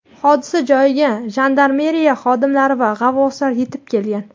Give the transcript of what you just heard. Hodisa joyiga jandarmeriya xodimlari va g‘avvoslar yetib kelgan.